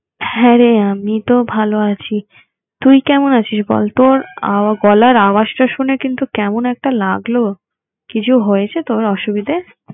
হ্যাঁ রে আমি তো ভাল আছি। তুই কেমন আছিস বল? তোর আহ গলার আওয়াজটা শুনে কিন্তু কেমন একটা লাগলো, কিছু হয়েছে তোর অসুবিধে?